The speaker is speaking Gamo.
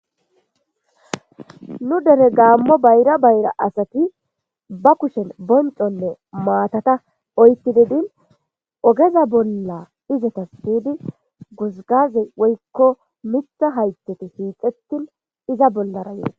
Nu dere gamo bayrra bayrra asati ba kushen bonconne mattata oyqidi ogezza bolla pude kessidi guzgazze woykko mitha haythati hixetin izza bolara yees.